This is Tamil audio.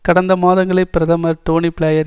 கடந்த மாதங்களில் பிரதமர் டோனி பிளேயர்